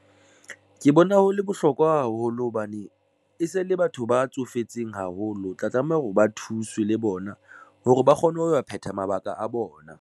Ke bona ho le bohlokwa haholo hobane e se le batho ba tsofetseng haholo o tla tlameha hore ba thuswe le bona hore ba kgone ho phetha mabaka a bona.